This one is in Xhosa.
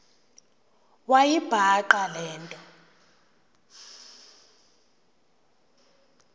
wayibhaqa le nto